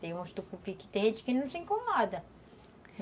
Tem uns tucupis que tem gente que não se incomoda.